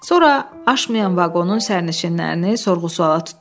Sonra aşmayan vaqonun sərnişinlərini sorğu-suala tutdular.